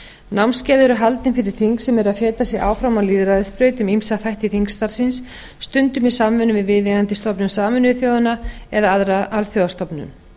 námskeið eru haldin fyrir þing sem eru að setja sig áfram á lýðræðisbrautinni ýmsa þætti þingstarfsins stundum í samstarfi við viðeigandi stofnun sameinuðu þjóðanna eða aðra alþjóðastofnun